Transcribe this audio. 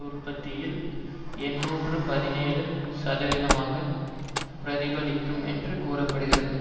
உற்பத்தியில் எண்ணூற்று பதினேழு சதவிகிதத்தை பிரதிபலிக்கும் என்று குறிப்பிடுகிறது